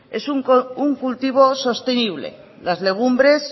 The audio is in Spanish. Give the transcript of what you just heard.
es un cultivo sostenible las legumbres